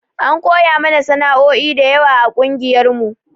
An koya mana sanao'i dayawa a ƙungiyar mu